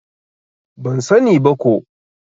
Ban sa ni ba ko